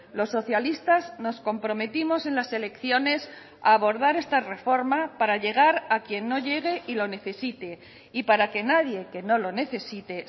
los socialistas nos comprometimos en las elecciones a abordar esta reforma para llegar a quien no llegue y lo necesite y para que nadie que no lo necesite